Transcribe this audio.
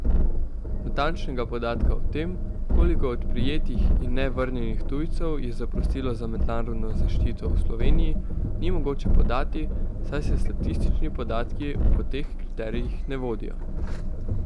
Natančnega podatka o tem, koliko od prijetih in ne vrnjenih tujcev je zaprosilo za mednarodno zaščito v Sloveniji, ni mogoče podati, saj se statistični podatki po teh kriterijih ne vodijo.